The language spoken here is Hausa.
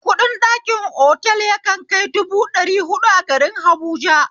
Kuɗin ɗakin otal yakan kai dubu ɗari huɗu a garin habuja